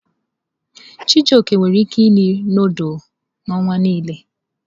Chijioke nwere ike iri nudulu n'ọnwa nile.